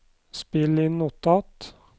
spill inn notat